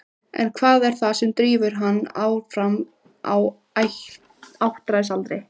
En hvað er það sem drífur hann áfram á áttræðisaldri?